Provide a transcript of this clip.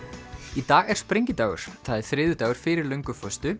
í dag er sprengidagur það er þriðjudagur fyrir